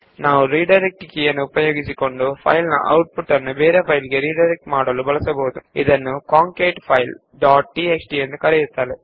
ನಾವು ಈ output ನ್ನು ಕಾಂಕೇಟ್ಫೈಲ್ ಡಾಟ್ ಟಿಎಕ್ಸ್ಟಿ ಎನ್ನುವ ಬೇರೆ ಫೈಲ್ ಗೆ ರಿಡೈರೆಕ್ಟ್ ಮಾಡಲು ರಿಡೈರೆಕ್ಟ್ ಕೀಯನ್ನು ಬಳಸಬಹುದು